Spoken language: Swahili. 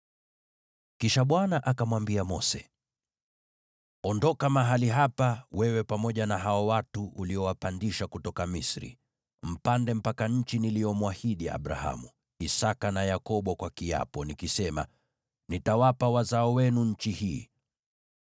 Kisha Bwana akamwambia Mose, “Ondoka mahali hapa, wewe pamoja na hao watu uliowapandisha kutoka Misri, mpande mpaka nchi niliyomwahidi Abrahamu, Isaki na Yakobo kwa kiapo, nikisema, ‘Nitawapa wazao wenu nchi hii.’